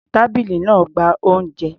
Tábìlì náà ń gba oúnjẹ.